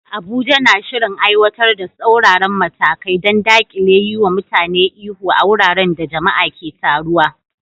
Abuja na shirin aiwatar da tsauraran matakai don dakile yiwa mutane ihu a wuraren da jama'a ke taruwa.